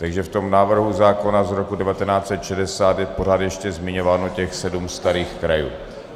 Takže v tom návrhu zákona z roku 1960 je pořád ještě zmiňováno těch sedm starých krajů.